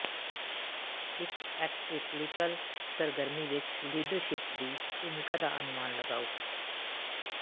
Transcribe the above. ਇਕ ਐਕਟਰਿਕਰੀਕਲ ਸਰਗਰਮੀ ਵਿਚ ਲੀਡਰਸ਼ਿਪ ਦੀ ਭੂਮਿਕਾ ਦਾ ਅਨੁਮਾਨ ਲਗਾਓ